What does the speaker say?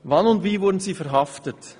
Wann und wie wurden Sie verhaftet?